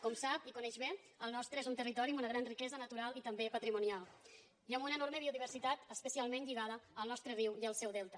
com sap i coneix bé el nostre és un territori amb una gran riquesa natural i també patrimonial i amb una enorme biodiversitat especialment lligada al nostre riu i al seu delta